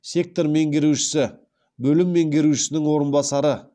сектор меңгерушісі бөлім меңгерушісінің орынбасары